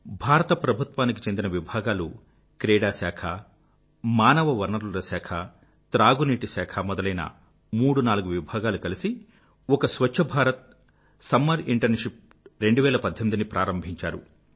భారత ప్రభుత్వానికి చెందిన విభాగాలు క్రీడా శాఖ మానవ వనరుల శాఖ త్రాగు నీటిశాఖ మొదలైన మూడు నాలుగు విభాగాలు కలిసి ఒక స్వఛ్ఛ భారత్ సమ్మర్ ఇంటర్న్షిప్ 2018″ ని ప్రారంభించారు